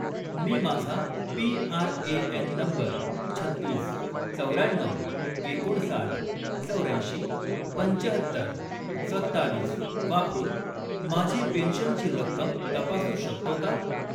मी माझा PRAN. Number छत्तीस, चौर्याण्णऊ, एकोणसाठ, चौर्याऐंशी, पंचाहत्तर, सत्तावीस वापरून माझी पेन्शनची रक्कम तपासू शकतो का?